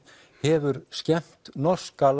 hefur skemmt norska